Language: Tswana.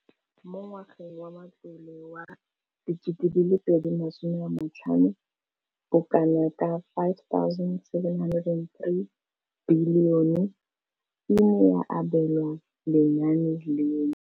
Mo ngwageng wa matlole wa 2015,16, bokanaka R5 703 bilione e ne ya abelwa lenaane leno.